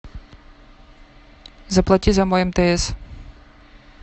заплати за мой мтс